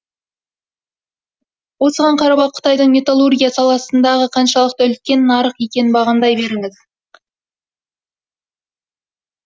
осыған қарап ақ қытайдың металлургия саласындағы қаншалықты үлкен нарық екенін бағамдай беріңіз